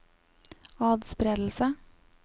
atspredelse